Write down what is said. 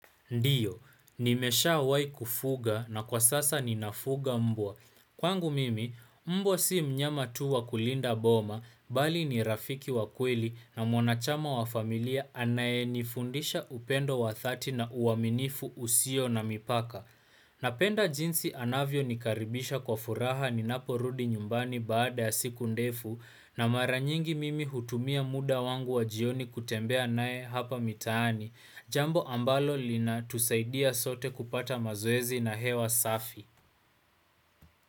Ndiyo, nimesha awai kufuga na kwa sasa ninafuga mbwa. Kwangu mimi, mbwa si mnyama tuwa kulinda boma, bali ni rafiki wa kweli na mwanachama wa familia anaye nifundisha upendo wa thati na uaminifu usio na mipaka. Napenda jinsi anavyo nikaribisha kwa furaha ni napo rudi nyumbani baada ya siku ndefu na maranyingi mimi hutumia muda wangu wa jioni kutembea anaye hapa mitani. Jambo ambalo lina tusaidia sote kupata mazoezi na hewa safi.